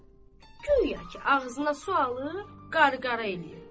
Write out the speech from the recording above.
Guya ki, ağzına su alıb qarqara eləyib.